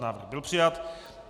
Návrh byl přijat.